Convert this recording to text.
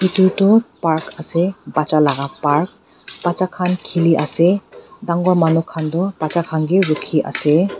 edu toh park ase bacha laga park bacha khan khili ase dangor manu khan doh bacha khan ke rukhi ase.